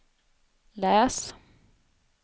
läs